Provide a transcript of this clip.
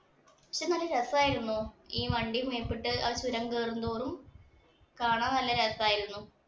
പക്ഷേ നല്ല രസമായിരുന്നു ആ വണ്ടി മേപ്പോട്ട് ആ ചുരം കയറും തോറും കാണാന്‍ നല്ല രസായിരുന്നു.